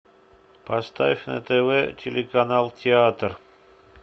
поставь на тв телеканал театр